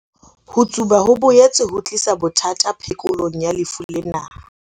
Ho tsuba ho boetse ho tlisa bothata phekolong ya lefu lena.